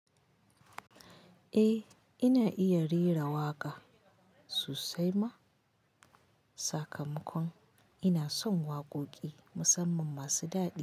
Eh, ina iya rera waƙa sosai ma. Sakamakon ina son waƙoƙi musamman masu dadi.